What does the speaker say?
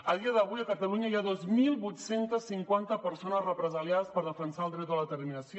a dia d’avui a catalunya hi ha dos mil vuit cents i cinquanta persones represaliades per defensar el dret a l’autodeterminació